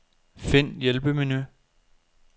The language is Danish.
Find hjælpemenu.